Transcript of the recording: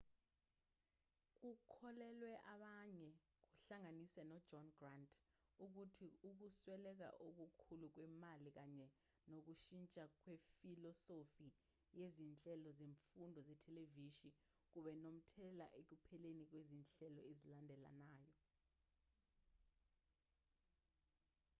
kukholelwa abanye kuhlanganise nojohn grant ukuthi ukusweleka okukhulu kwemali kanye nokushintsha kwefilosofi yezinhlelo zemfundo zethelevishini kube nomthelela ekupheleni kwezinhlelo ezilandelanayo